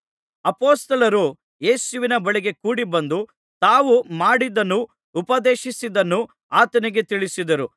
ಅಪೊಸ್ತಲರು ಯೇಸುವಿನ ಬಳಿಗೆ ಕೂಡಿ ಬಂದು ತಾವು ಮಾಡಿದ್ದನ್ನೂ ಉಪದೇಶಿಸಿದ್ದನ್ನೂ ಆತನಿಗೆ ತಿಳಿಸಿದರು